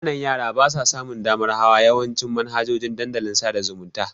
Ƙananan yara basa samun damar hawa yawancin manhajojin dandalin sada zumunta.